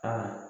Ka